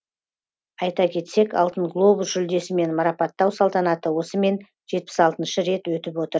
айта кетсек алтын глобус жүлдесімен марапаттау салтанаты осымен жетпіс алтыншы рет өтіп отыр